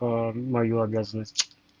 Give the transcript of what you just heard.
аа мою обязанность